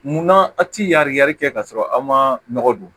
Munna a ti yari yari kɛ ka sɔrɔ aw ma nɔgɔ don